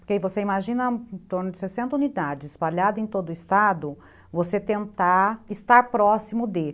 Porque aí você imagina em torno de sessenta unidades espalhadas em todo o estado, você tentar estar próximo dele.